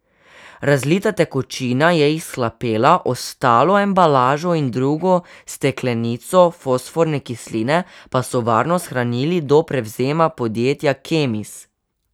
Razlita tekočina je izhlapela, ostalo embalažo in drugo steklenico fosforne kisline pa so varno shranili do prevzema podjetja Kemis.